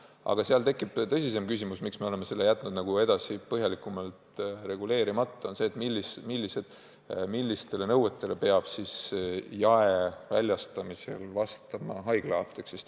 Aga sellega seoses tekib tõsisem küsimus, mille tõttu me oleme selle jätnud põhjalikumalt reguleerimata: see on see, millistele nõuetele peab haiglaapteek jaeväljastamisel vastama.